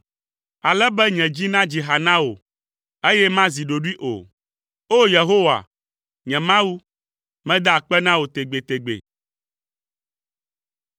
ale be nye dzi nadzi ha na wò, eye mazi ɖoɖoe o. O! Yehowa, nye Mawu, mada akpe na wò tegbetegbe.